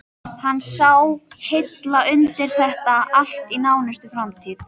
Hann sá hilla undir þetta allt í nánustu framtíð.